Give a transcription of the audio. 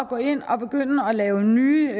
gå ind og begynde at lave nye